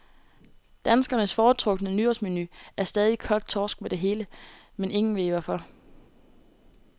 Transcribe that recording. Danskernes foretrukne nytårsmenu er stadig kogt torsk med det hele, men ingen ved hvorfor.